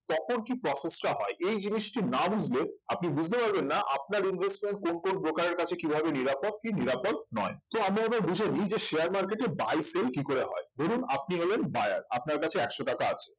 তখন কি process টা হয় এই জিনিসটি না বুঝলে আপনি বুঝতে পারবেন না আপনার investment কোন কোন broker এর কাছে কি ভাবে নিরাপদ কি নিরাপদ নয় তো আমরা এবার বুঝেনি যে share market এ buy sell কি করে হয় ধরুন আপনি হলেন buyer আপনার কাছে একশো টাকা আছে